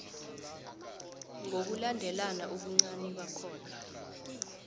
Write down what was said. ngokulandelana ubuncani bakhona